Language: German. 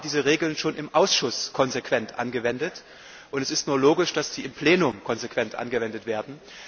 Wir haben diese Regeln schon im Ausschuss konsequent angewendet, und es ist nur logisch, dass sie im Plenum konsequent angewendet werden.